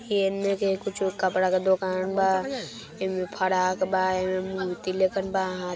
एने के कुछ कपडा के दुकान बा इमे फराक बा एमे बा |